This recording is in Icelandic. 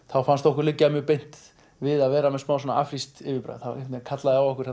þá fannst okkur liggja mjög beint við að vera með smá afrískt yfirbragð það kallaði á okkur